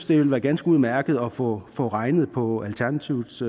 det vil være ganske udmærket at få få regnet på alternativets